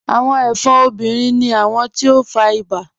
Awọn ẹfọ́n obìnrin ni awọn ti o fá ìbà.